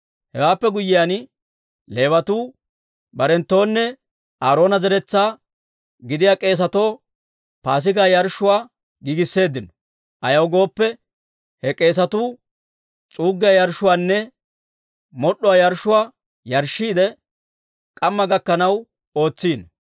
Hewaappe guyyiyaan, Leewatuu barenttuwunne Aaroona zeretsaa gidiyaa k'eesatoo Paasigaa yarshshuwaa giigisseeddino. Ayaw gooppe, he k'eesatuu s'uuggiyaa yarshshuwaanne mod'd'uwaa yarshshuwaa yarshshiidde, k'ammaa gakkanaw ootsino.